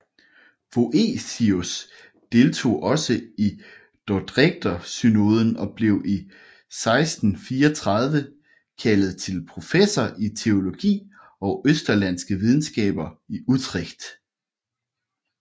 Voetius deltog også i dordrechtersynoden og blev 1634 kaldet til professor i teologi og østerlandske videnskaber i Utrecht